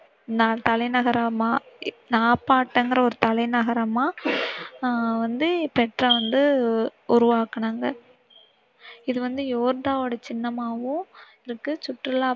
தலைநகரமா, நாப்பபாடிங்கிற ஒரு தலைநகரம ஆஹ் வந்து பெட்ரா வந்து உருவாக்கினாங்க. இது வந்து யோர்தான்யோட சின்னமாவும் இருக்கு சுற்றுலா